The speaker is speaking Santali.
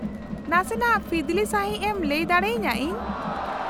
-ᱱᱟᱥᱮᱱᱟᱜ ᱯᱷᱤᱫᱞᱤ ᱥᱟᱺᱦᱤᱡ ᱮᱢ ᱞᱟᱹᱭ ᱫᱟᱲᱮᱭᱟᱹᱧᱟᱹ ᱤᱧ ?